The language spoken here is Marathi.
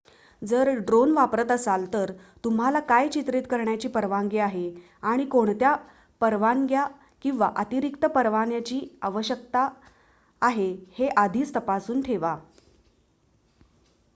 जर ड्रोन वापरत असाल तर तुम्हाला काय चित्रित करण्याची परवानगी आहे आणि कोणत्या परवानग्या किंवा अतिरिक्त परवान्याची आवश्यकता आहे हे आधीच तपासून ठेवा